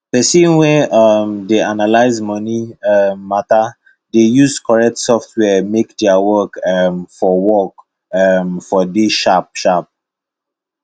person wey um dey analyse moni um matter dey use corret software make their work um for work um for dey sharp sharp